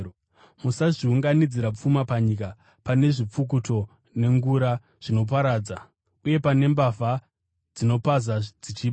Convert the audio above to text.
“Musazviunganidzira pfuma panyika, pane zvipfukuto nengura zvinoparadza, uye pane mbavha dzinopaza dzichiba.